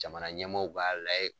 Jamana ɲɛmaaw b'a laye